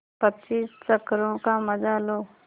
पच्चीस चक्करों का मजा लो